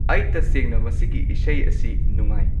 ꯑꯩ ꯇꯁꯦꯡꯅ ꯃꯁꯤꯒꯤ ꯏꯁꯩ ꯑꯁꯤ ꯅꯨꯡꯉꯥꯏ